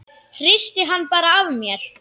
Hristi hann bara af mér.